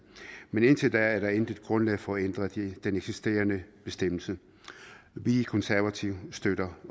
men indtil da er der intet grundlag for at ændre den eksisterende bestemmelse vi konservative støtter